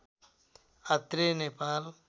Atreya Nepal